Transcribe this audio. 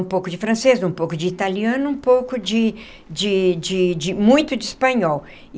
Um pouco de francês, um pouco de italiano um pouco de de de de, muito de espanhol.